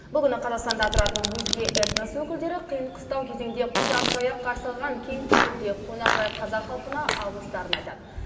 бұл күні қазақстанда тұратын өзге этнос өкілдері қиын қыстау кезеңде құшақ жая қарсы алған кеңпейіл де қонақжай қазақ халқына алғыстарын айтады